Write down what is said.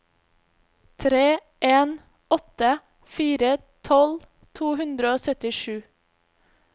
tre en åtte fire tolv to hundre og syttisju